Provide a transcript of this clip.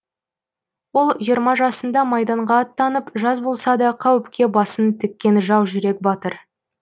ол жиырма жасында майданға аттанып жас болса да қауіпке басын тіккен жаужүрек батыр